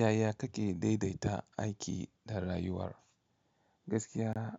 Yaya kake daidaita aiki da rayuwar? Gaskiya,